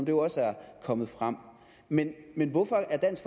jo også er kommet frem men men hvorfor er dansk